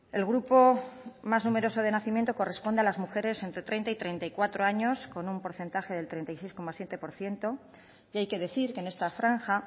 el grupo más numeroso de nacimiento corresponde a las mujeres entre treinta y treinta y cuatro años con un porcentaje del treinta y seis coma siete por ciento y hay que decir que en esta franja